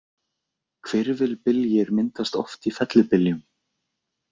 Hvirfilbyljir myndast oft í fellibyljum.